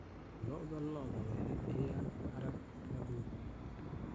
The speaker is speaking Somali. Lo'da lo'da waxay bixiyaan harag la dhoofiyo.